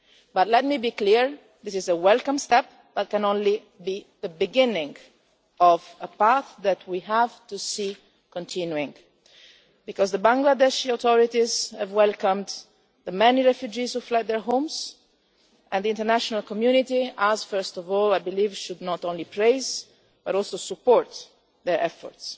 But let me be clear, this is a welcome step that can only be the beginning of a path that we have to see continuing, because the Bangladeshi authorities have welcomed the many refugees who fled their homes and the international community and we, first of all, I believe should not only praise but also support their efforts.